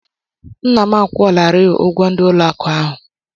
Nna m a kwụọlarịị ụgwọ ndị ụlọ akụ ahịa ahụ.